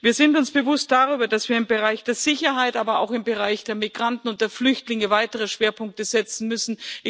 Wir sind uns dessen bewusst, dass wir im Bereich der Sicherheit, aber auch im Bereich der Migranten und der Flüchtlinge weitere Schwerpunkte setzen müssen.